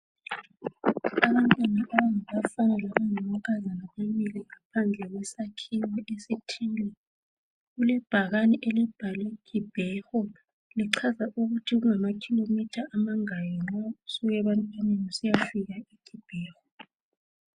Abantwana abangabafana labangamankazana bamile phandle kwesakhiwo esithile. Kulebhakani elibhalwe KIBEHO.Lichaza ukuthi kungaba kilometre amangaki nxa usuka ebantwaneni usiyafika eKIBEKO.